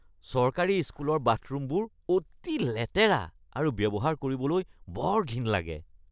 চৰকাৰী স্কুলৰ বাথৰূমবোৰ অতি লেতেৰা আৰু ব্যৱহাৰ কৰিবলৈ বৰ ঘিণ লাগে।